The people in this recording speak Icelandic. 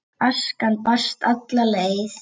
Askan barst alla leið til